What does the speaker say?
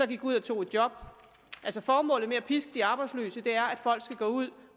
gik ud og tog et job formålet med at piske de arbejdsløse er altså at folk skal gå ud